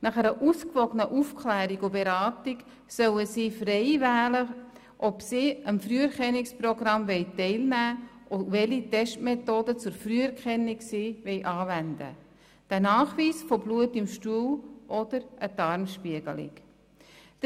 Nach einer ausgewogenen Aufklärung und Beratung sollen sie frei wählen, ob sie am Früherkennungsprogramm teilnehmen wollen und welche Testmethode – den Nachweis von Blut im Stuhl oder eine Darmspiegelung – zur Früherkennung sie anwenden wollen.